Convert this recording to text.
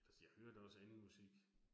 Altså jeg hører da også andet musik